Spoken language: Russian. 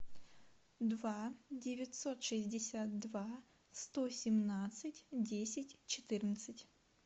два девятьсот шестьдесят два сто семнадцать десять четырнадцать